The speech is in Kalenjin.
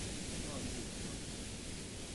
Ngo' nin wendote?